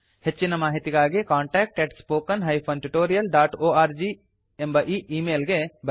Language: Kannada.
ಹೆಚ್ಚಿನ ಮಾಹಿತಿಗಾಗಿ contactspoken tutorialorg ಎಂಬ ಈಮೇಲ್ ಗೆ ಬರೆಯಿರಿ